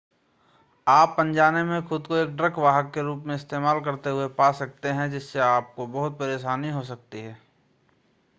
आप अनजाने में खुद को एक ड्रग वाहक के रूप में इस्तेमाल करते हुए पा सकते हैं जिससे आपको बहुत परेशानी हो सकती है